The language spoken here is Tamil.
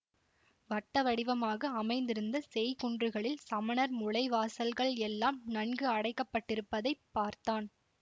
வட்ட வடிவமாக அமைந்திருந்த செய்குன்றுகளில் சமணர் முழை வாசல்கள் எல்லாம் நன்கு அடைக்கப்பட்டிருப்பதைப் பார்த்தான்